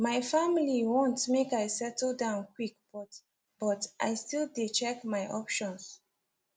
my family want make i settle down quick but but i still dey check my options